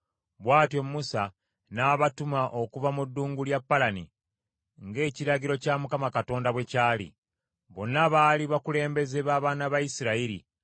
Bw’atyo Musa n’abatuma okuva mu ddungu lya Palani, ng’ekiragiro kya Mukama Katonda bwe kyali. Bonna baali bakulembeze b’abaana ba Isirayiri.